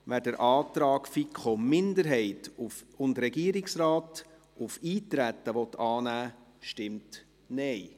wer den Antrag FiKo-Minderheit und Regierungsrat auf Eintreten annehmen will, stimmt Nein.